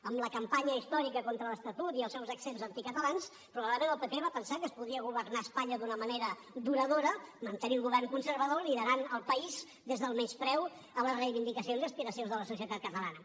amb la campanya històrica contra l’estatut i els seus accents anticatalans probablement el pp va pensar que es podria governar espanya d’una manera duradora mantenir un govern conservador liderant el país des del menyspreu a les reivindicacions i aspiracions de la societat catalana